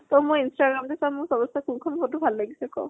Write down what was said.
তই মোৰ instagram টো চা। মোৰ চবত্চে বেছি কোন খন photo ভাল লাগিছে ক।